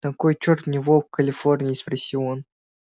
на кой чёрт мне волк в калифорнии спросил он